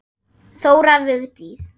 Þóra Vigdís.